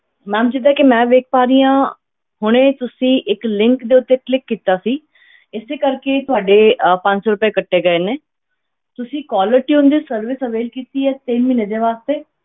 Ma'am ਜਿੱਦਾਂ ਕਿ ਮੈਂ ਵੇਖ ਪਾ ਰਹੀ ਹਾਂ ਹੁਣੇ ਤੁਸੀਂ ਇੱਕ link ਦੇ ਉੱਤੇ click ਕੀਤਾ ਸੀ ਇਸੇ ਕਰਕੇ ਤੁਹਾਡੇ ਅਹ ਪੰਜ ਸੌ ਰੁਪਏ ਕੱਟੇ ਗਏ ਨੇ ਤੁਸੀਂ caller tune ਦੀ service avail ਕੀਤੀ ਹੈ ਤਿੰਨ ਮਹੀਨੇ ਦੇ ਵਾਸਤੇ।